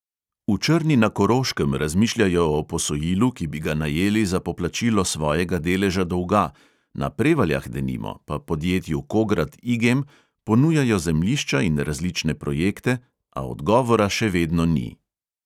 V črni na koroškem razmišljajo o posojilu, ki bi ga najeli za poplačilo svojega deleža dolga, na prevaljah denimo pa podjetju kograd igem ponujajo zemljišča in različne projekte, a dogovora še vedno ni.